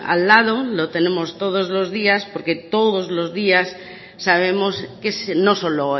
al lado lo tenemos todos los días porque todos los días sabemos que no solo